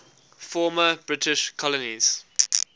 former british colonies